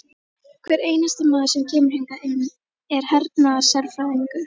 Hver einasti maður sem kemur hingað inn er hernaðarsérfræðingur!